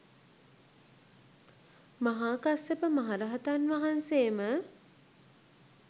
මහා කස්සප මහ රහතන් වහන්සේම